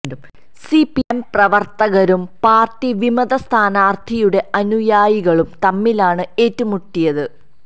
C P M പ്രവര്ത്തകരും party വിമത സ്ഥാനാര്ഥിയുടെ അനുയായികളും തമ്മിലാണ് ഏറ്റുമുട്ടിയത്